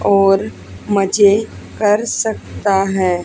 और मजे कर सकता है।